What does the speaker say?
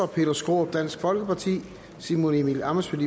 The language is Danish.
peter skaarup simon emil ammitzbøll